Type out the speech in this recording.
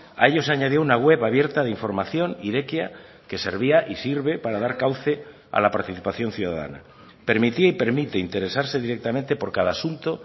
a ello se añadió una web abierta de información irekia que servía y sirve para dar cauce a la participación ciudadana permitía y permite interesarse directamente por cada asunto